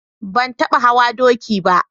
Ban taɓa hawa doki ba.